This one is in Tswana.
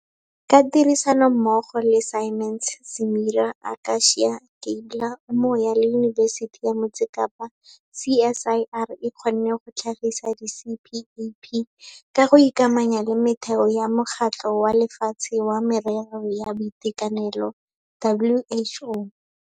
Ka tirisanommogo le Siemens, Simera, Aka-cia, Gabler, Umoya le Yunibesiti ya Motse Kapa, CSIR e kgonne go tlhagisa di-CPAP ka go ikamanya le metheo ya Mokgatlho wa Lefatshe wa Merero ya Boitekanelo, WHO.